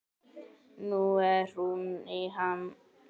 Nú er hún í ham.